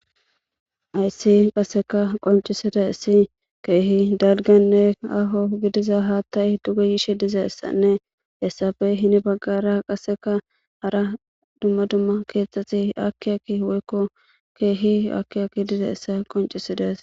Hayssi qaseka qonccisidayssi keehi dalgganne aaho gidiza haatay duge yishe gidizaysanne hessappe heni baggara qaseka hara dumma dumma keethati aaki aaki woyko keehi aaki aaki dizayssa qonccisides.